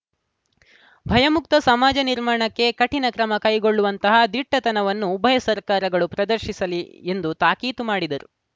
ಭಯಮುಕ್ತ ಸಮಾಜ ನಿರ್ಮಾಣಕ್ಕೆ ಕಠಿಣ ಕ್ರಮ ಕೈಗೊಳ್ಳುವಂತಹ ದಿಟ್ಟತನವನ್ನು ಉಭಯ ಸರ್ಕಾರಗಳು ಪ್ರದರ್ಶಿಸಲಿ ಎಂದು ತಾಕೀತು ಮಾಡಿದರು